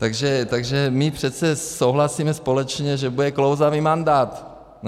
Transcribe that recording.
Takže my přece souhlasíme společně, že bude klouzavý mandát, ne?